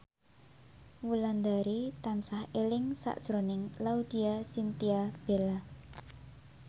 Wulandari tansah eling sakjroning Laudya Chintya Bella